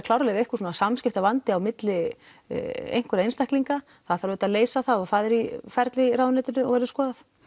klárlega einhver samskiptavandi á milli einhverra einstaklinga það þarf auðvitað að leysa það og það er í ferli í ráðuneytinu og verður skoðað